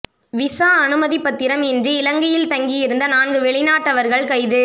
visa அனுமதிப் பத்திரம் இன்றி இலங்கையில் தங்கியிருந்த நான்கு வெளிநாட்டவர்கள் கைது